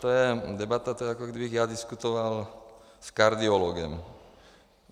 To je debata, to je, jako kdybych já diskutoval s kardiologem.